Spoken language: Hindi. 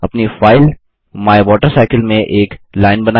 अपनी फाइल माइवाटरसाइकिल में एक लाइन बनाएँ